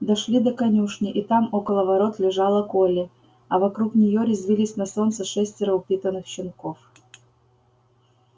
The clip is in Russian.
дошли до конюшни и там около ворот лежала колли а вокруг неё резвились на солнце шестеро упитанных щенков